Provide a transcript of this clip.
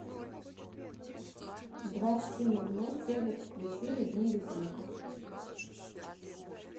в двадцать три ноль ноль телек включи режим без звука